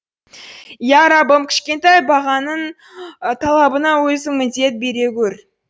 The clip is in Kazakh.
иә раббым кішкентай бағбаныңның талабына өзің медет бере гөр